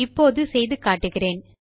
இப்போது செய்து காட்டுகிறேன்